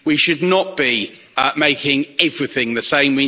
We should not be making everything the same